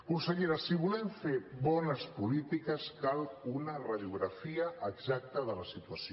consellera si volem fer bones polítiques cal una radiografia exacta de la situació